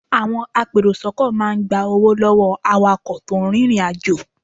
Àwọn apèròsọ́kọ̀ máa ń gba owó lọ́wọ́ awakọ̀ tó ń rìnrìnàjò.